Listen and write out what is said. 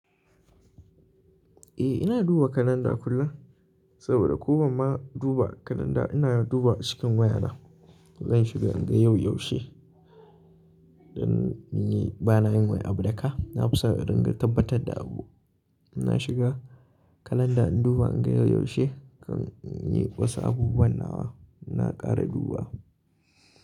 Eh ina duba kalanda kullum, saboda ko ban ma duba kalanda ina duba cikin wayana. Zan shiga in ga yau yaushe, don ni bana yin wai abu daka. Na fi son in ringa tabbatar da abu. Ina shiga kalanda in duba in ga yau yaushe kan in yi wasu abubuwan nawa ina kara duba.